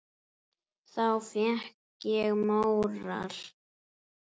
Þá fékk ég móral.